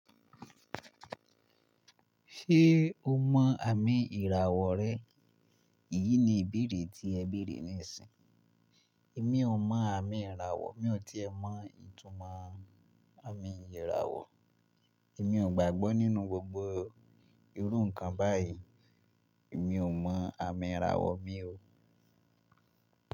“Ṣé o mọ àmì ìràwọ̀ rẹ?” Èyí ni ìbéèrè tí ẹ béèrè níìsín. Èmi ò mọ àmì ìràwọ̀, mi ò tíì ẹ mọ ìtumọ̀ àmì ìràwọ̀. Èmi ò gbàgbọ́ nínú gbogbo irú nǹkan báyìí. Èmi ò mọ àmì ìràwọ̀ mi o.